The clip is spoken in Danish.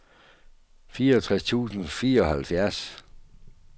fireogtres tusind og fireoghalvfjerds